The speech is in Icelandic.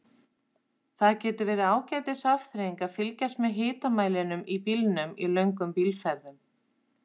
Það getur verið ágætis afþreying að fylgjast með hitamælinum í bílnum í löngum bílferðum.